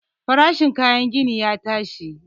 Farashin kayan gini ya tashi.